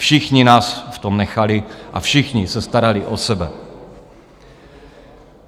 Všichni nás v tom nechali a všichni se starali o sebe.